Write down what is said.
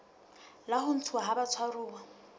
la ho ntshuwa ha batshwaruwa